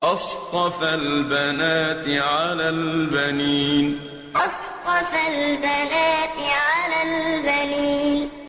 أَصْطَفَى الْبَنَاتِ عَلَى الْبَنِينَ أَصْطَفَى الْبَنَاتِ عَلَى الْبَنِينَ